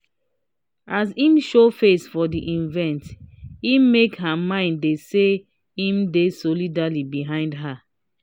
as im show face for the evente make her mind dey say im dey solidly behind her